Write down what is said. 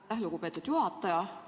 Aitäh, lugupeetud juhataja!